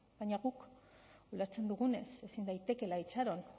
baina guk ulertzen dugunez ezin daitekeela itxaron